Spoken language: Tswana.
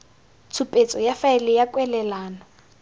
tshupetso ya faele ya kwalelano